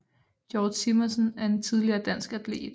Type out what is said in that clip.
Georg Simonsen er en tidligere dansk atlet